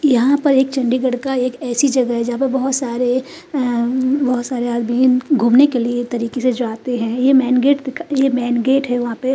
यहां पर एक चंडीगड़ का एक ऐसी जगह है जहा पे बोहोत सारे अ हम्म बोहोत सारे घूमने के लिए एक तरीके से जाते है ये मैन गेट ये मैन गेट है वहा पे --